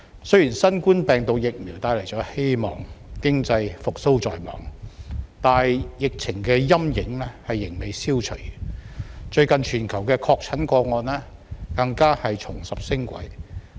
雖然新冠病毒疫苗帶來了希望，經濟復蘇在望，但疫情的陰影仍未消除，最近全球的確診個案更加重拾升軌。